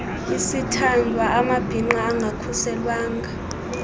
isithandwa amabhinqa angakhuselwanga